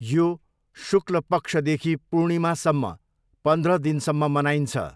यो शुक्ल पक्षदेखि पूर्णिमासम्म पन्ध्र दिनसम्म मनाइन्छ।